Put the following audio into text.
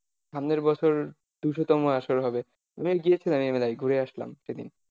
সামনের বছর দুশোতম আসর হবে, আমিও গিয়েছিলাম এই মেলায় ঘুরে আসলাম সেদিন।